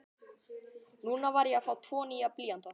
Núna var ég að fá tvo nýja blýanta.